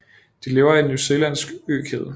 De lever i New Zealands økæde